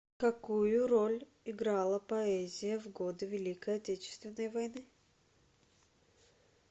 какую роль играла поэзия в годы великой отечественной войны